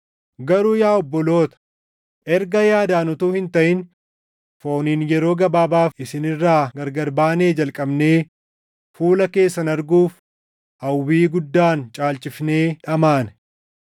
Garuu yaa obboloota, erga yaadaan utuu hin taʼin fooniin yeroo gabaabaaf isin irraa gargar baanee jalqabnee fuula keessan arguuf hawwii guddaan caalchifnee dhamaane.